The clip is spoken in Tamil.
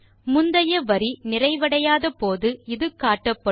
முந்தைய வரி நிறைவடையாத போது இது காட்டப்படும்